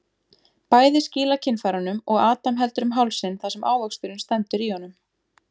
Bæði skýla kynfærunum og Adam heldur um hálsinn þar sem ávöxturinn stendur í honum.